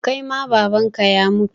Kai ma Baban ka ya mutu?